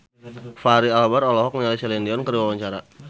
Fachri Albar olohok ningali Celine Dion keur diwawancara